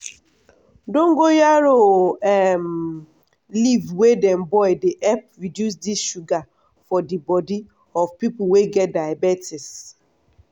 dongoyaro um leaf wey dem boil dey help reduce di sugar for di body of pipo wey get diabetes.